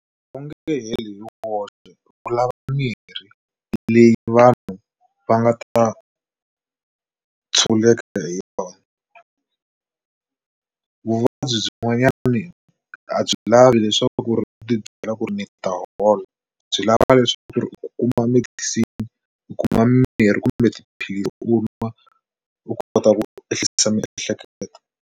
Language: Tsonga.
Wu nge heli hi woxe wu lava mirhi leyi vanhu va nga ta tshunguleka hi yona vuvabyi byin'wanyana a byi lavi leswaku u ti byela ku ri ni ta hola byi lava leswaku ri u kuma medicine u kuma mimirhi kumbe tiphilisi u va u kota ku ehlisa miehleketo.